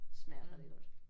Smager rigtig godt